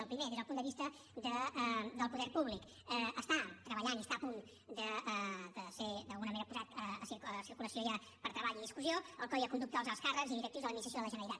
el primer des del punt de vista del poder públic està treballant i està a punt de ser d’alguna manera posat en circulació ja per a treball i discussió el codi de conducta dels alts càrrecs i directius de l’administració de la generalitat